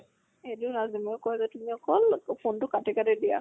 এইটোয়ে ৰাজদ্বীপে মোক কয় যে তুমি অকল phone টো কাটি কাটি দিয়া।